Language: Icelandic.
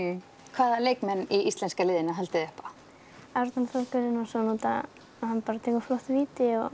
hvaða leikmenn í íslenska liðinu haldið þið upp á Arnar Þór Guðnason því hann tekur flott víti og